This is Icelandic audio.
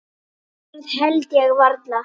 Það held ég varla.